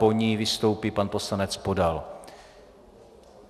Po ní vystoupí pan poslanec Podal.